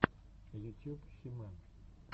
ютьюб хи мэн